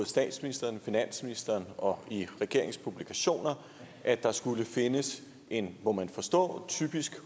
statsministeren finansministeren og i regeringens publikationer at der skulle findes en må man forstå typisk